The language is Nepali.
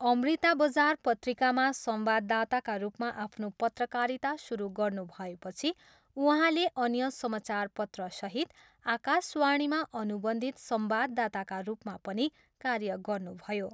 अमृता बजार पत्रिकामा संवाददाताका रूपमा आफ्नो पत्रकारिता सुरु गर्नुभएपछि उहाँले अन्य समाचारपत्रसहित आकाशवाणीमा अनुबन्धित संवाददाताका रूपमा पनि कार्य गर्नुभयो।